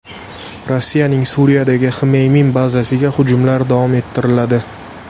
Rossiyaning Suriyadagi Xmeymim bazasiga hujumlar davom ettiriladi.